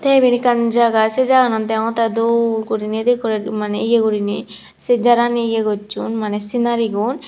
te ibet ekkan jaga se jaganot degongtte dol guriney edekke maney ye guriney se jarani ye gosson maney sinari gun.